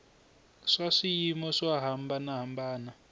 swa swiyimo swo hambana hambana